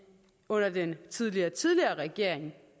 under den tidligere tidligere regering